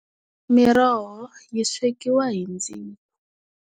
Miroho yi swekiwa hi ndzilo.